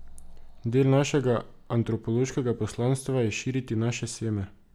Del našega antropološkega poslanstva je širiti naše seme.